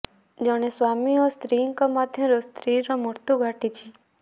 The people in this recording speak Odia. ଜଣେ ସ୍ୱାମୀ ଓ ସ୍ତ୍ରୀଙ୍କ ମଧ୍ୟରୁ ସ୍ତ୍ରୀର ମୃତ୍ୟୁ ଘଟୁଛି